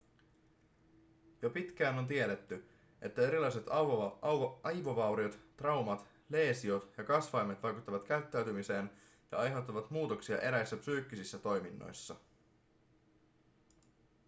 jo pitkään on tiedetty että erilaiset aivovauriot traumat leesiot ja kasvaimet vaikuttavat käyttäytymiseen ja aiheuttavat muutoksia eräissä psyykkisissä toiminnoissa